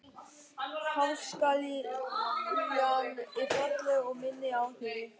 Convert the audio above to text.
Páskaliljan er falleg og minnir á þig.